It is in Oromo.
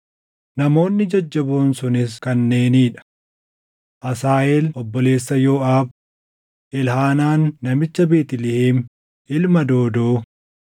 Namoonni jajjaboon sunis kanneenii dha: Asaaheel obboleessa Yooʼaab, Elhaanaan namicha Beetlihem ilma Doodoo,